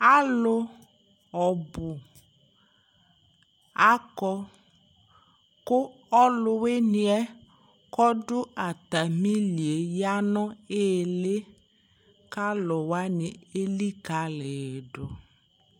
alo ɔbo akɔ ko ɔlo winiɛ ko ɔdo atami li yɛ ya no ili ko alowani elikale yi do